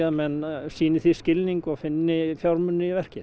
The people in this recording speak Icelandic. menn sýni því skilning og finni fjármuni í verkið